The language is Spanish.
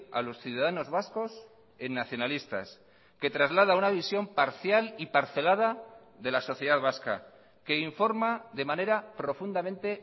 a los ciudadanos vascos en nacionalistas que traslada una visión parcial y parcelada de la sociedad vasca que informa de manera profundamente